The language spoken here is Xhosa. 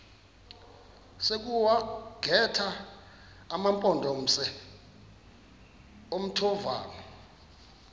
sokuwagxotha amampondomise omthonvama